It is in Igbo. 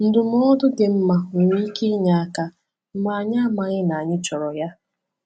Ndụmọdụ dị mma nwere ike inye aka mgbe anyị amaghị na anyị chọrọ ya.